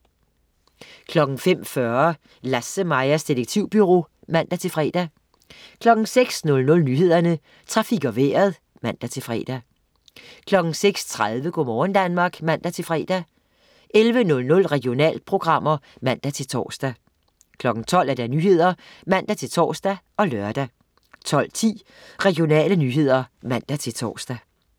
05.40 Lasse-Majas Detektivbureau (man-fre) 06.00 Nyhederne, Trafik og Vejret (man-fre) 06.30 Go' morgen Danmark (man-fre) 11.00 Regionalprogrammer (man-tors) 12.00 Nyhederne (man-tors og lør) 12.10 Regionale nyheder (man-tors)